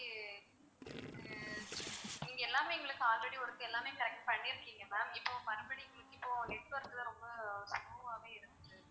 நீங்க எல்லாமே எங்களுக்கு already ஒரு தடவை எல்லாமே correct பண்ணிருக்கீங்க ma'am இப்போ மறுபடியும் உங்களுக்கு இப்போ network லாம் ரொம்ப slow வாவே இருந்துச்சு.